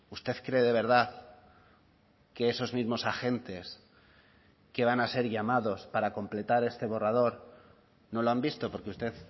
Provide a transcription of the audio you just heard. usted cree de verdad que esos mismos agentes que van a ser llamados para completar este borrador no lo han visto porque usted